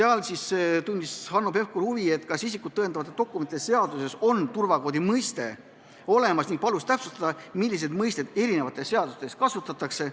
Hanno Pevkur tundis huvi, kas isikut tõendavate dokumentide seaduses on turvakoodi mõiste olemas, ning palus täpsustada, milliseid mõisteid eri seadustes kasutatakse.